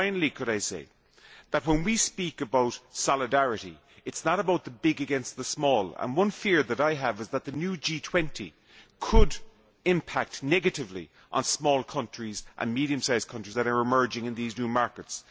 Could I say that when we speak about solidarity, it is not about the big against the small, and one fear that I have is that the new G20 could impact negatively on small countries and medium sized countries which are emerging in these new markets.